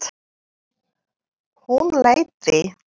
Hún leiddi